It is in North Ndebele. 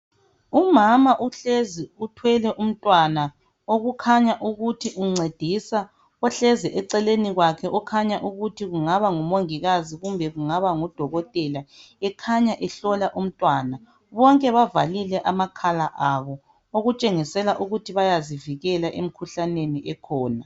Umama uhlezi uthwele umntwana okukhanya ukuthi uncedisa ohlezi eceleni kwakhe okhanya ukuthi kungaba ngumongikazi kumbe kungaba ngudokotela .Ekhanya ehlola umntwana .Bonke bavalile amakhala abo okutshengisela ukuthi bayazivikela emkhuhlaneni ekhona.